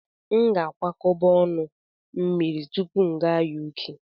M ga-akwakọba ọnụ mmiri tupu m aga Uk.